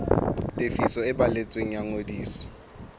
tefiso e balletsweng ya ngodiso